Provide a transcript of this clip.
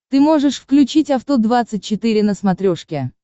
ты можешь включить авто двадцать четыре на смотрешке